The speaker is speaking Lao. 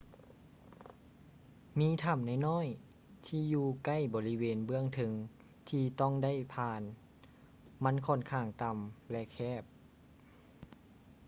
ມີຖໍ້ານ້ອຍໆທີ່ຢູ່ໃກ້ບໍລິເວນເບື້ອງເທິງທີ່ຕ້ອງໄດ້ຜ່ານ ມັນຂ້ອນຂ້າງຕໍ່າ ແລະ ແຄບ